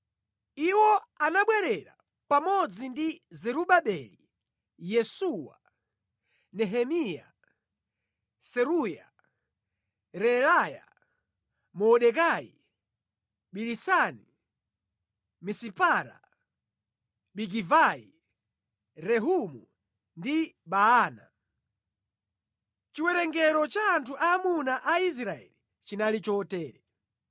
Iwo anabwerera pamodzi ndi Zerubabeli, Yesuwa, Nehemiya, Seruya, Reelaya, Mordekai, Bilisani, Misipara, Bigivai, Rehumu ndi Baana). Chiwerengero cha anthu aamuna a Israeli chinali chotere: